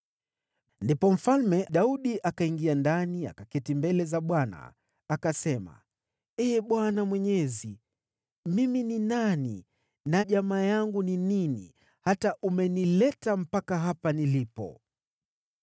Ndipo Mfalme Daudi akaingia ndani, akaketi mbele za Bwana , akasema: “Ee Bwana Mwenyezi, mimi ni nani, na jamaa yangu ni nini, hata umenileta mpaka hapa nilipo?